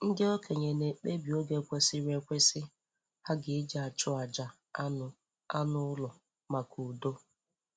Ndị okenye na-ekpebi oge kwesịrị ekwesị ha ga-eji achụ àjà anụ anụ ụlọ maka udo.